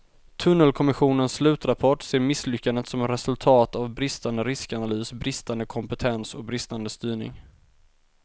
Tunnelkommissionens slutrapport ser misslyckandet som resultat av bristande riskanalys, bristande kompetens och bristande styrning.